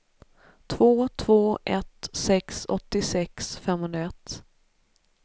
två två ett sex åttiosex femhundraett